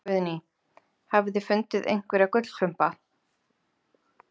Guðný: Hafið þið fundið einhverja gullklumpa?